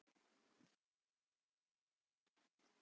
Tel ég að hann sé latur?